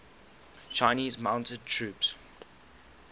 chinese mounted troops